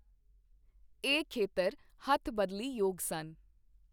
ਇਹ ਖੇਤਰ ਹੱਥਬਦਲੀ ਯੋਗ ਸਨ।